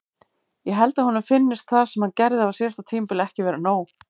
Ég held að honum finnist það sem hann gerði á síðasta tímabili ekki vera nóg.